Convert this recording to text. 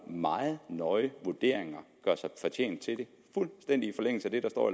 meget nøje vurderinger gør sig fortjent til det fuldstændig i forlængelse af det der står